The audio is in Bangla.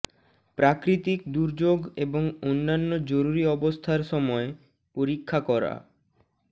প্রাকৃতিক দুর্যোগ এবং অন্যান্য জরুরি অবস্থার সময় পরীক্ষা করা